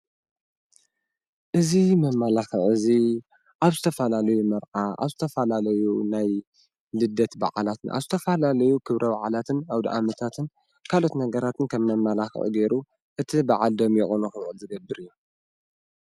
እዚ መማላኽዒ እዚ ኣብ ዝተፈላለዩ መርዓ ኣብ ዝተፈላለዩ ናይ ልደት በዓላት ኣብ ዝተፈላለዩ ክብረ በዓላትን ኣውደኣመታትን ካልኦት ነገራትን ከም መማላኽዒ ጌሩ እቲ በዓል ደሚቁ ንክውዕል ዝገብር እዩ፡፡